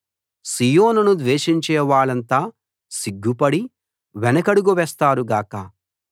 సీయోనును ద్వేషించే వాళ్ళంతా సిగ్గుపడి వెనుకడుగు వేస్తారు గాక